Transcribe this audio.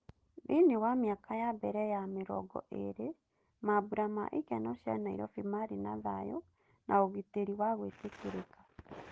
Thĩiniĩ wa mĩaka ya mbere ya mĩrongo ĩrĩ, mambũra ma ikeno cia Nairobi marĩ na thayũ na ũgitēri wa gwĩtĩkĩrĩka.